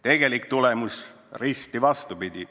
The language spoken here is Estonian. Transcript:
Tegelik tulemus oli risti vastupidi.